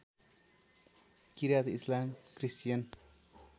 किरात इस्लाम क्रिस्चियन